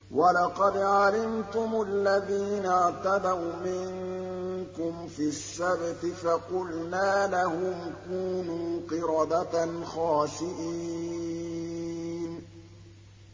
وَلَقَدْ عَلِمْتُمُ الَّذِينَ اعْتَدَوْا مِنكُمْ فِي السَّبْتِ فَقُلْنَا لَهُمْ كُونُوا قِرَدَةً خَاسِئِينَ